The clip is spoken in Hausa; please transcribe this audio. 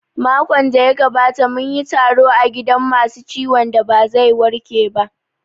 Makon da ya gabata munyi taro a gidan masu ciwon da ba zai warke ba